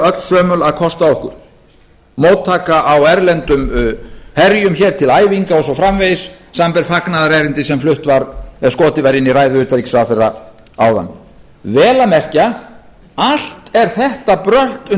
öllsömul að kosta okkur móttaka á erlendum herjum hér til æfinga og svo framvegis samanber fagnaðarerindið sem flutt var sem skotið var inn í ræðu utanríkisráðherra áðan vel að merkja allt er þetta brölt